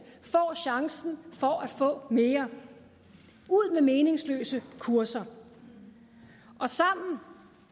får chancen for at få mere ud med meningsløse kurser sammen